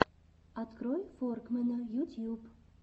открой форкмэна ютьюб